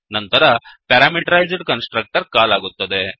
ನಂತರ parameterized constructor call ಆಗುತ್ತದೆ